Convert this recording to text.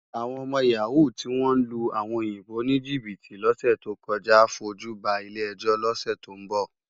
Awòn òmò yàwú tiwón lú áwòn óyinbó nijibiti lòsè tókòjá á fójú bá ilé èjó lòsè tó n bò